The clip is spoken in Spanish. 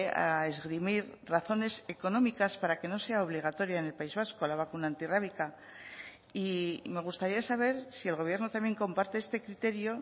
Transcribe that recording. a esgrimir razones económicas para que no sea obligatoria en el país vasco la vacuna antirrábica y me gustaría saber si el gobierno también comparte este criterio